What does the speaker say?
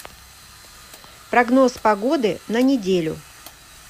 прогноз погоды на неделю